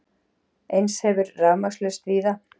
Eins hefur verið rafmagnslaust víða